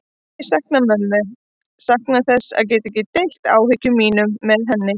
Ég saknaði mömmu, saknaði þess að geta ekki deilt áhyggjum mínum með henni.